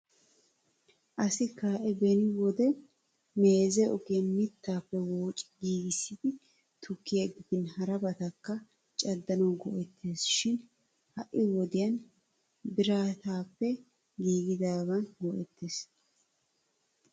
Asa kae beni wode meeze ogiyaan mittappe woocci giigissidi tukkiya gidin harabatakka caddanaw go"ettees shin ha'i wodiyaan biratappe giigidaagan go"ettees.